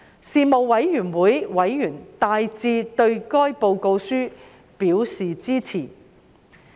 事務委員會委員大致對該報告書表示支持。